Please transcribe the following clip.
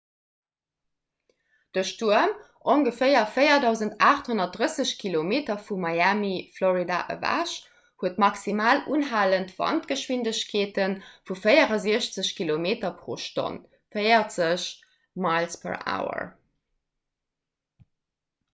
de stuerm ongeféier 4 830 kilometer vu miami florida ewech huet maximal unhalend wandgeschwindegkeete vu 64 km/h 40 mph